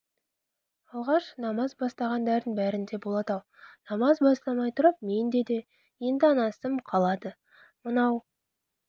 алғаш намаз бастағандардың бәрінде болады-ау намаз бастамай тұрып менде де енді ана ісім қалады мынау